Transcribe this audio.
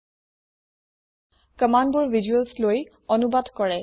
কম্মান্দবোৰ visuals লৈ অনুবাদ কৰে